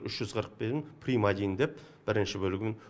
үш жүз қырық бірін прим один деп бірінші бөлігін